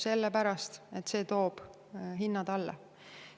Sellepärast, et see toob hinnad alla.